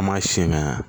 An m'a siyɛn ka